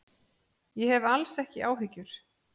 Ég hef alls ekki áhyggjur.